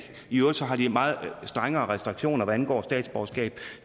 i øvrigt har de meget strengere restriktioner hvad angår statsborgerskab